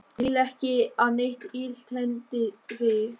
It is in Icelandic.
Ég vil ekki að neitt illt hendi þig.